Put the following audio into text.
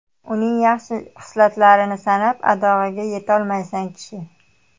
Uning yaxshi hislatlarini sanab adog‘iga yetolmaysan kishi.